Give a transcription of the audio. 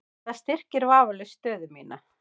Það styrkir vafalaust stöðu mína.